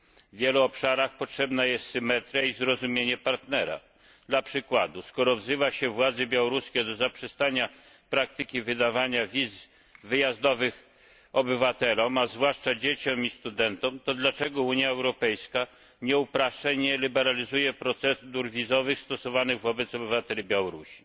W wielu obszarach potrzebna jest symetria i zrozumienie partnera. Dla przykładu skoro wzywa się władze białoruskie do zaprzestania praktyki wydawania wiz wyjazdowych obywatelom, a zwłaszcza dzieciom i studentom, to dlaczego Unia Europejska nie upraszcza i nie liberalizuje procedur wizowych stosowanych wobec obywateli Białorusi?